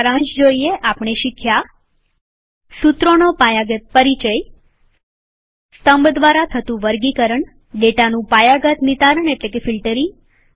સારાંશ માટે આપણે શીખ્યું સુત્રોનો પાયાગત પરિચય સ્તંભ દ્વારા થતું વર્ગીકરણસોર્ટીંગ ડેટાનું પાયાગત નીતારણ એટલેકે ફિલ્ટરીંગ